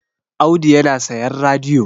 Audu yana sayan radiyo